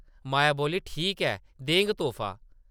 माया बोल्ली, ‘‘ठीक ऐ, देङ तोह्फा ।’’